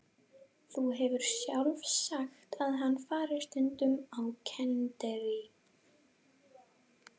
Þú hefur sjálf sagt að hann fari stundum á kenndirí.